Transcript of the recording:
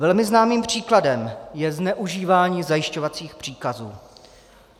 Velmi známým příkladem je zneužívání zajišťovacích příkazů.